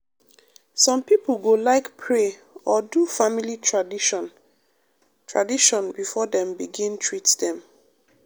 some pipo go like pray or do family tradition tradition before dem begin treat dem.